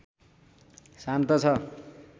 शान्त छ